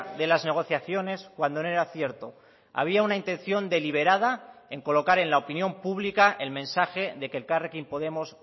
de las negociaciones cuando no era cierto había una intención deliberada en colocar en la opinión pública el mensaje de que elkarrekin podemos